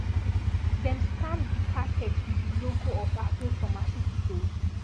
dem stamp di packets with di logo of aveo pharmaceuticals